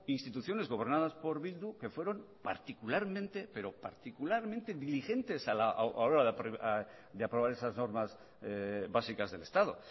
instituciones gobernadas por bildu que fueron particularmente diligentes a la hora de aprobar esas normas básicas del estado